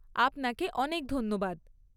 আপনাকে অনেক ধন্যবাদ!